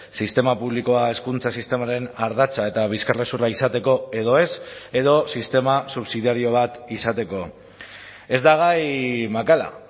sistema publikoa hezkuntza sistemaren ardatza eta bizkarrezurra izateko edo ez edo sistema subsidiario bat izateko ez da gai makala